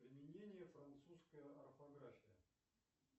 применение французская орфография